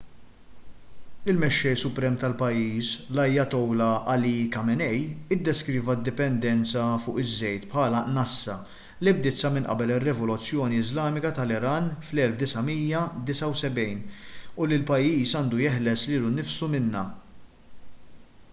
il-mexxej suprem tal-pajjiż l-ayatollah ali khamenei iddeskriva d-dipendenza fuq iż-żejt bħala nassa li bdiet sa minn qabel ir-rivoluzzjoni iżlamika tal-iran fl-1979 u li l-pajjiż għandu jeħles lilu nnifsu minnha